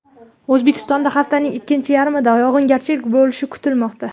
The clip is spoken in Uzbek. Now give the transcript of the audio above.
O‘zbekistonda haftaning ikkinchi yarmida yog‘ingarchilik bo‘lishi kutilmoqda.